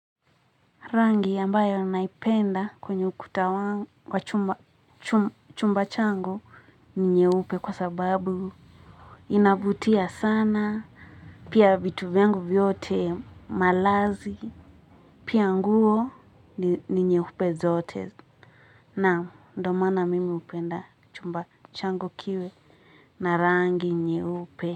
Rangi ambayo naipenda kwenye ukutawangu kwa chumba changu ni nye upe kwa sababu inavutia sana pia vitu vyangu vyote malazi pia nguo ni nye upe zote naam ndomaana mimi upenda chumba changu kiwe na rangi nye upe.